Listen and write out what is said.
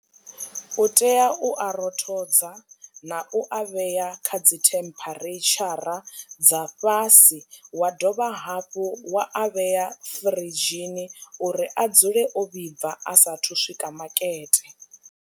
U tea u a rothodza na u a vhea kha dzi temperature dza fhasi wa dovha hafhu wa a vheya firidzhini uri a dzule o vhibva a sathu swika makete.